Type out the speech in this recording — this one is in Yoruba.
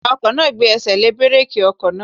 Awakọ̀ náà gbé ẹsẹ̀ lé búrèkì ọkọ̀ náà